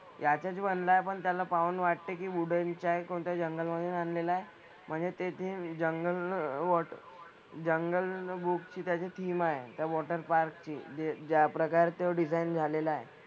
त्यातच बनलाय पण त्याला पाहून वाटते की wooden च्या कोणत्या जंगलमधून आणलेला आहे. म्हणजे ते theme जंगल water अं जंगल book ची त्याची theme आहे. त्या water park ची जे ज्या प्रकारचं design झालेलं आहे.